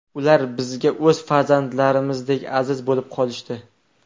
Ular bizga o‘z farzandlarimizdek aziz bo‘lib qolishdi.